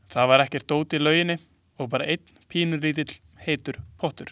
Það var ekkert dót í lauginni og bara einn pínulítill heitur pottur.